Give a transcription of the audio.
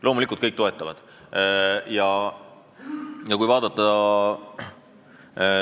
Loomulikult kõik toetavad!